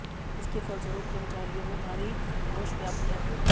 इसके फलस्वरूप कर्मचारियों में भारी रोष व्याप्त है